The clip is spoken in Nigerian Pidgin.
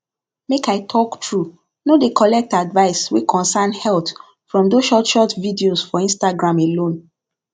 make i talk true no dey collect advice wey concern health from those short short videos for instagram alone